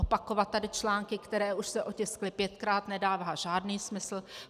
Opakovat tady články, které už se otiskly pětkrát, nedává žádný smysl.